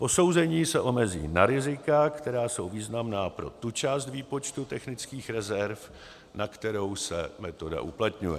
Posouzení se omezí na rizika, která jsou významná pro tu část výpočtu technických rezerv, na kterou se metoda uplatňuje.